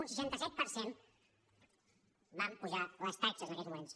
un seixanta set per cent van pujar les taxes en aquells moments